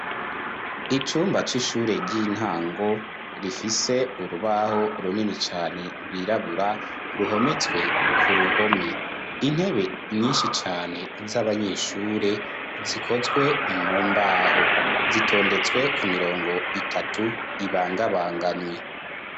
Icumba c'ishure ry'intango rifise urubaho runini cane rwirabura ruhometswe ku ruhome intebe nyinshi cane z'abanyeshure zikozwe mumbaho zitondetswe ku mirongo itatu ibangabanganywe.